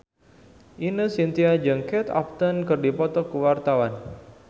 Ine Shintya jeung Kate Upton keur dipoto ku wartawan